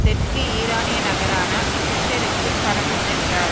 தெற்கு ஈரானிய நகரான புஷெருக்குப் பறந்து சென்றார்